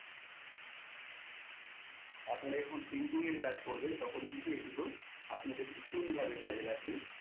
আপনারা যখন printing এর কাজ করবেন তখন কিন্ত এইগুলো আপনাদের ভীষণ ভাবে কাজে লাগবে।